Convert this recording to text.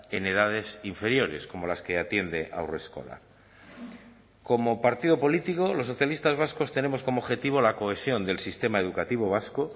en edades inferiores como las que atiende haurreskolak como partido político los socialistas vascos tenemos como objetivo la cohesión del sistema educativo vasco